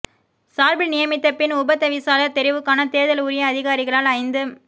சார்பில் நியமித்த பின் உபதவிசாளர் தெரிவுக்கான தேர்தல் உரிய அதிகாரிகளால் ஐந்து